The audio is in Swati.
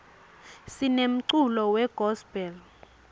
sinemculo we gospel